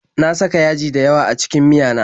Na saka yaji dayawa a cikin miyana